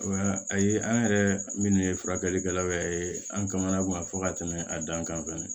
Wala a ye an yɛrɛ minnu ye furakɛlikɛla wɛrɛ ye an kamana guwan fɔ ka tɛmɛ a dan kan fɛnɛ